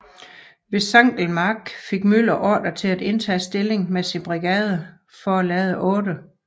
Ved Sankelmark fik Müller ordre til at indtage stilling med sin brigade for at lade 8